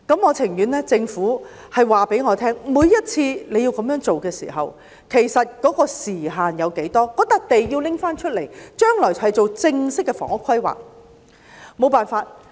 我情願政府告訴我，每次要這樣做的時候，其實時限有多少；土地要交還出來，將來作正式的房屋規劃，沒有其他辦法。